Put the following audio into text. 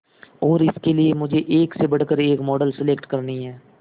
और इसके लिए मुझे एक से बढ़कर एक मॉडल सेलेक्ट करनी है